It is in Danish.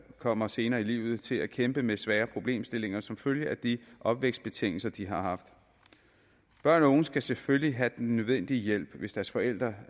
kommer senere i livet til at kæmpe med svære problemstillinger som følge af de opvækstbetingelser de har haft børn og unge skal selvfølgelig have den nødvendige hjælp hvis deres forældre